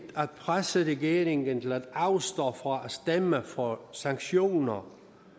at presse regeringen til at afstå fra at stemme for sanktioner